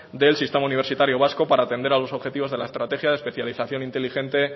del sistema universitario vasco para atender a los objetivos de la estrategia de especialización inteligente